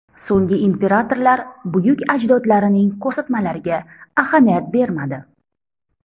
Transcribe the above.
So‘nggi imperatorlar buyuk ajdodlarining ko‘rsatmalariga ahamiyat bermadi.